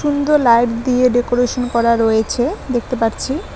সুন্দর লাইট দিয়ে ডেকোরেশন করা রয়েছে দেখতে পারছি।